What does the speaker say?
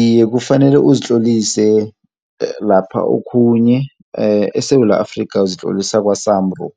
Iye kufanele uzitlolise lapha okhunye eSewula Afrika uzitlolisa kwa-SAMRO.